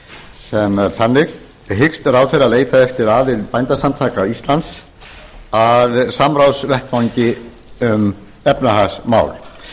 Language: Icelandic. sem er þannig hyggst ráðherra leita eftir aðild bændasamtaka íslands að samráðsvettvangi um efnahagsmál